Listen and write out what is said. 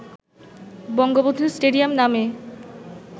Bangabandhu stadium নামে